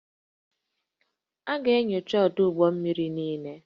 A ga-enyocha ọdụ ụgbọ mmiri niile